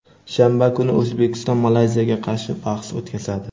shanba kuni O‘zbekiston Malayziyaga qarshi bahs o‘tkazadi.